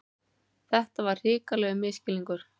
Þetta var hrikalegur misskilningur!